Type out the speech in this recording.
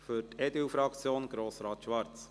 Für die EDU-Fraktion Grossrat Schwarz.